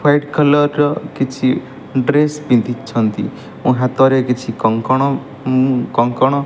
white collar ର କିଛି dress ପିନ୍ଧିଛନ୍ତି ଓ ହାତରେ କିଛି କଙ୍କଣ ଉଁ କଙ୍କଣ --